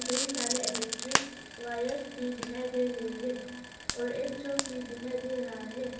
कई सारे electric wires भी दिखाई दे रहे हैं और एक शॉप भी दिखाई दे रहा है।